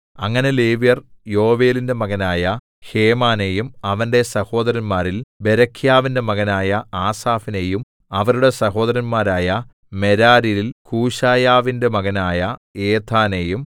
അങ്ങനെ ലേവ്യർ യോവേലിന്റെ മകനായ ഹേമാനെയും അവന്റെ സഹോദരന്മാരിൽ ബേരെഖ്യാവിന്റെ മകനായ ആസാഫിനെയും അവരുടെ സഹോദരന്മാരായ മെരാര്യരിൽ കൂശായാവിന്റെ മകനായ ഏഥാനെയും